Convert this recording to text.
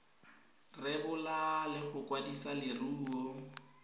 rebola le go kwadisa leruo